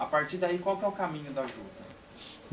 A partir daí, qual que que é o caminho da juta?